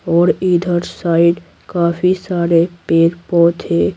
और इधर साइड काफी सारे पेर -पौधे है।